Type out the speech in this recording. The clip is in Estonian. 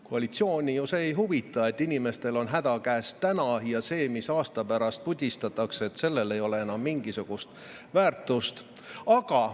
Koalitsiooni see ei huvita, et inimestel on täna häda käes ja sellel, mis aasta pärast pudistatakse, ei ole enam mingisugust väärtust.